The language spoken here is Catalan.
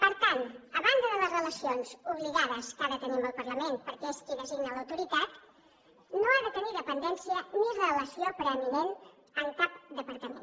per tant a banda de les relacions obligades que ha de tenir amb el parlament perquè és qui designa l’autoritat no ha de tenir dependència ni relació preeminent en cap departament